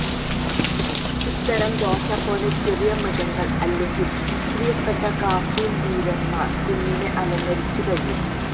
ഇത്തരം ദോശ പോലെ ചെറിയ മൃഗങ്ങൾ അല്ലെങ്കിൽ പ്രിയപ്പെട്ട കാർട്ടൂൺ വീരന്മാർ കുഞ്ഞിനെ അലങ്കരിച്ച കഴിയും